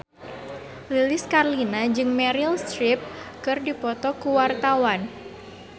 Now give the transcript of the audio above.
Lilis Karlina jeung Meryl Streep keur dipoto ku wartawan